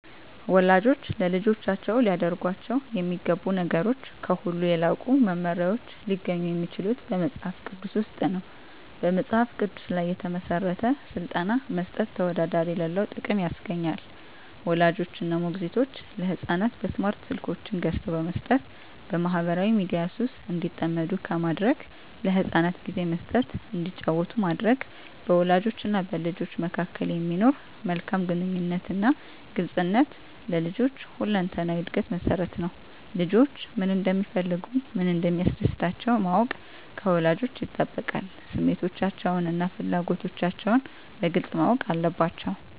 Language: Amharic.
ወላጆች ለልጆቻቸው ሊያደርጓቸው የሚገቡ ነገሮች ከሁሉ የላቁ መመሪያዎች ሊገኙ የሚችሉት በመጽሐፍ ቅዱስ ውስጥ ነው። በመጽሐፍ ቅዱስ ላይ የተመሠረተ ሥልጠና መስጠት ተወዳዳሪ የሌለው ጥቅም ያስገኛል። ወላጆች እና ሞግዚቶች ለሕፃናት በስማርት ስልኮችን ገዝተው በመስጠት በማኅበራዊ ሚዲያ ሱስ እንዲጠመዱ ከማድረግ ለሕፃናት ጊዜ መስጠት እንዲጫወቱ ማድረግ፣ በወላጆችና በልጆች መካከል የሚኖር መልካም ግንኙነትና ግልጽነት ለልጆች ሁለንተናዊ ዕድገት መሠረት ነው። ልጆች ምን እንደሚፈልጉ፣ ምን እንደሚያስደስታቸው ማወቅ ከወላጆች ይጠበቃል። ስሜቶቻቸውንና ፍላጎቶቻቸውን በግልጽ ማወቅ አለባቸዉ።